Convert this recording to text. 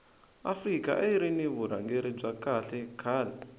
afrika ayiri ni vurhangeri bya kahle khale